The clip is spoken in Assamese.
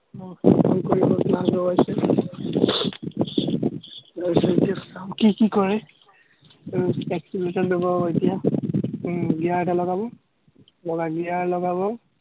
মোক ফোন কৰি কৰি ইমান ডবাইছে, এতিয়া চাম, কি কি কৰে, উম accelerator ডবাব এতিয়া, উম gear এটা লগাব, লগাই gear লগাব।